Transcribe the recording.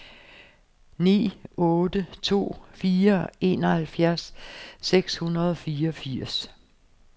ni otte to fire enoghalvfjerds seks hundrede og fireogfirs